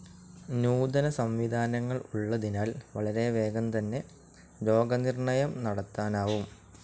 നൂതന സംവിധാനങ്ങൾ ഉള്ളതിനാൽ വളരെ വേഗം തന്നെ രോഗനിർണയം നടത്താനാവും.